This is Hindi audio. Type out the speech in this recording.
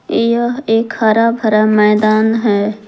यह एक हरा भरा मैदान है।